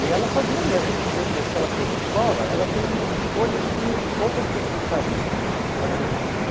E ela fazia mesmo, do mesmo jeito que ela fez a escola, ela fez umas escolhas que poucas pessoas fariam. Eh ãh